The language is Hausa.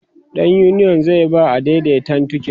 ɗan uniyon zai ba adaidaitan tiket